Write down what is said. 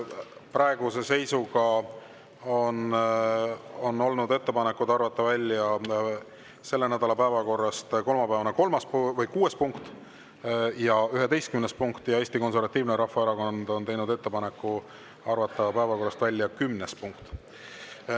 Praeguse seisuga on olnud ettepanekud arvata välja selle nädala päevakorrast kolmapäevane kuues ja 11. punkt ja Eesti Konservatiivne Rahvaerakond on teinud ettepaneku arvata päevakorrast välja kümnes punkt.